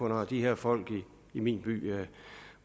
når de her folk i min by